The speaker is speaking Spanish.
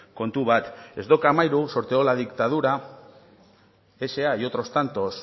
kontu bat ez dok amahiru sorteó la dictadura sa y otros tantos